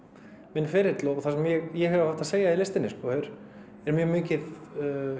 minn ferill og það sem ég hef haft að segja í listinni það er mjög mikið